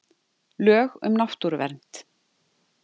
Lög um náttúruvernd.